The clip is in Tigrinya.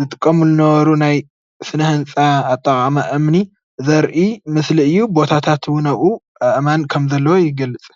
ዝጥቀሙሉ ዝነበሩ ናይ ስነ ህንፃ ኣጠቓቕማ እምኒ ዘርኢ ምስሊ እዩ፡፡ ቦታታት እውን ኣእማን ከምዘለዉ የገልፅ፡፡